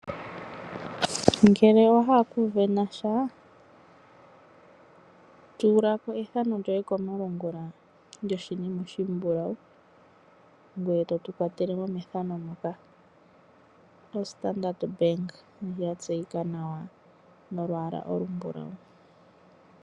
Ngele owa hala okusindana sha ,tula ko ethano lyoye komalungula lyoshinima oshimbulawu ngweye totu kwatele mo methano moka. Ostandard Bank ndjo yatseyika nawa nolwaala olumbulawu.